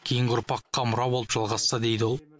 кейінгі ұрпаққа мұра болып жалғасса дейді ол